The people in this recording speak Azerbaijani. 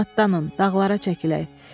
Gedin atdanın, dağlara çəkilək.